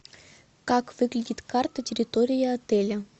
как выглядит карта территории отеля